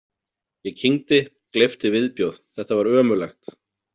Ég kyngdi, gleypti viðbjóð, þetta var ömurlegt.